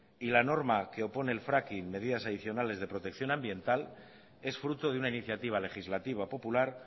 y la norma que opone el fracking medidas adicionales de protección ambiental es fruto de una iniciativa legislativa popular